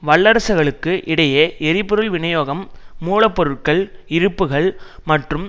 வல்லரசுகளுக்கு இடையே எரிபொருள் விநியோகம் மூலப்பொருட்கள் இருப்புக்கள் மற்றும்